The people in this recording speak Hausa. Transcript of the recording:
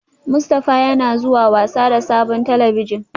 Mustafa yana zuwa wasa da sabon talabijin